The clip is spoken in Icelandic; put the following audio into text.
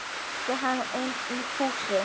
æpti hann inn í húsið.